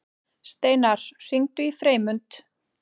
Steinar, hringdu í Freymund.